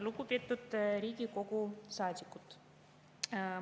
Lugupeetud Riigikogu saadikud!